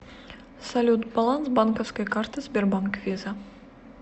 салют баланс банковской карты сбербанк виза